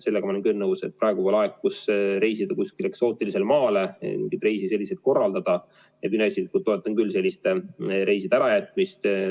Sellega ma olen küll nõus, et praegu, kui tahetakse reisida kusagile eksootilisele maale, selliseid reise korraldada – mina isiklikult toetan selliste reiside ärajätmist.